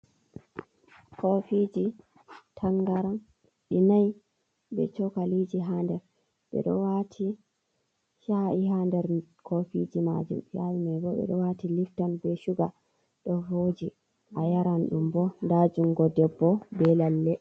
Kofiji tangaran ɗi nai, be chokaliji ha nder, ɓeɗo wati chai ha nder kofiji majum, chai mai bo ɓe ɗo wati lifton be shuga ɗo voji, a yaran ɗum bo nda jungo debbo be lalle.